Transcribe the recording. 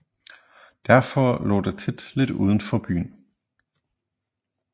Derfor lå de tit lidt udenfor byen